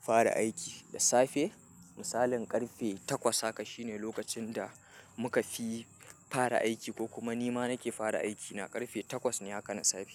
fara aiki da safe. Misalin ƙarfe takwas haka shine lokacin da muka fi fara aiki ko kuma nima nake fara aiki na ƙarfe takwas ne haka na safe.